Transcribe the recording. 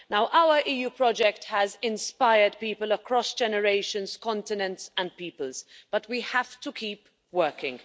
Our EU project has inspired people across generations, continents and peoples, but we have to keep working.